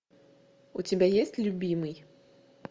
у тебя есть любимый